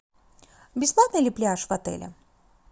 бесплатный ли пляж в отеле